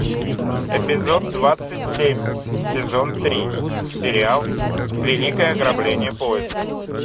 эпизод двадцать семь сезон три сериал великое ограбление поезда